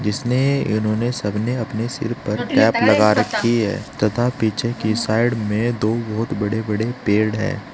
जिसने इन्होंने सब ने अपने सिर पर कैप लगा रखी है तथा पिछे के साइड में दो बहुत बड़े बड़े पेड़ है।